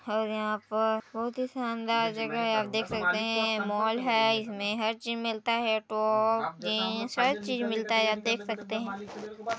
--और यहाँ पर बहुत ही शानदार जगह हैं आप देख सकते है मॉल है इसमें हर चीज मिलता है टॉप जीन्स हर चीज मिलता है आप देख सकते हैं।